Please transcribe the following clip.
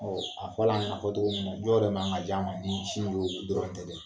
a fɔla ɲa fɔ cogo min na, jɔn man ka ja ma ni sin no dɔrɔn tɛ dɛ